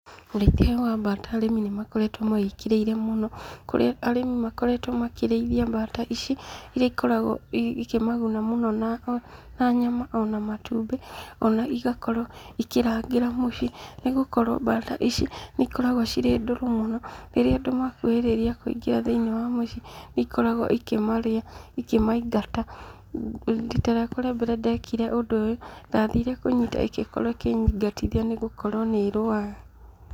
Ũrĩithia ũyũ wa mbata arĩmi nĩ makoretwo mawĩkĩrĩire mũno, kũrĩa arĩmi makoretwo makĩrĩithia mbata ici, iria ikoragwo ikĩmaguna mũno na nyama ona matumbĩ, ona igakorwo ikĩrangĩra mũciĩ, nĩ gũkorwo mbata ici nĩ ikoragwo cirĩ ndũrũ mũno, rĩrĩa andũ makuhĩrĩria kũingĩra thĩinĩ wa mũciĩ, nĩ ikoragwo ikĩmarĩa ikĩmaingata. Rita rĩakwa rĩa mbere ndekire ũndũ ũyũ, ndathire kũnyita ĩgĩkorwo ĩkĩnyingatithia nĩgũkorwo nĩ ĩrũaga.